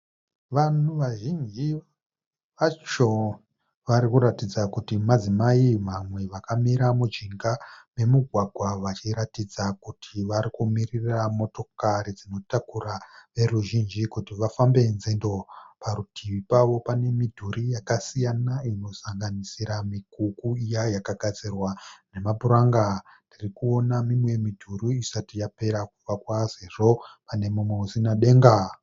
Vanhu vazhinji vacho varikuratidza kuti madzimai mamwe vakamira mujinga nemugwagwa vachiratidza kuti varikumirira motokari dzinotakura veruzhinji kuti vafambe nzendo. Parutivi pavo pane midhuri yakasiyana inosanganisira mikuku iya yakagadzirwa nemapuranga. Ndirikuona mimwe midhuri isati yapera kuvakwa sezvo panemumwe usina denga.